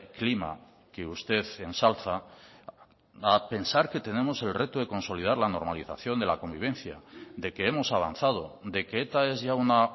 clima que usted ensalza a pensar que tenemos el reto de consolidar la normalización de la convivencia de que hemos avanzado de que eta es ya una